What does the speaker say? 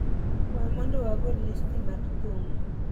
we mondo wago listi mar thum